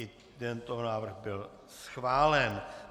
I tento návrh byl schválen.